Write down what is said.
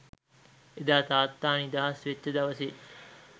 එදා තාත්තා නිදහස් වෙච්ච දවසේ